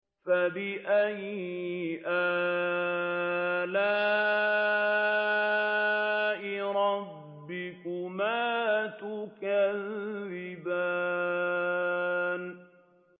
فَبِأَيِّ آلَاءِ رَبِّكُمَا تُكَذِّبَانِ